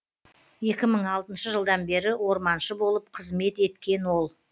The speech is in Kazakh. екі мың алтыншы жылдан бері орманшы болып қызмет еткен ол